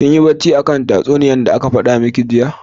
Kinyi bacci akan tatsunniya da aka fada miki jiya?